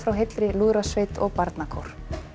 heilli lúðrasveit og barnakór